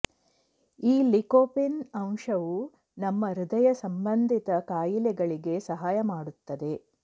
ಈ ಲಿಕೋಪಿನ್ ಅಂಶವು ನಮ್ಮ ಹೃದಯ ಸಂಬಂಧಿತ ಕಾಯಿಲೆಗಳಿಗೆ ಸಹಾಯ ಮಾಡುತ್ತದೆ